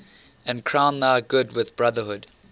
and crown thy good with brotherhood